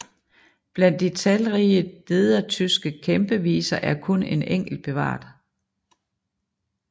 Blandt de talrige nedertyske kæmpeviser er kun en enkelt bevaret